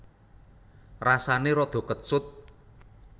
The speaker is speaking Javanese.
Rasané rada kecut